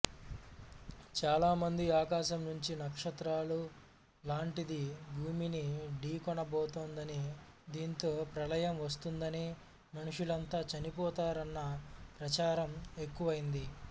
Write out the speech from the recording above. చాలా మంది ఆకాశం నుంచి నక్షత్రం లాంటిది భూమిని ఢీకొనబోతోందని దీంతో ప్రళయం వస్తుందని మనుషులంతా చనిపోతారన్న ప్రచారం ఎక్కువైంది